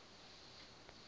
no ri iri ya fumi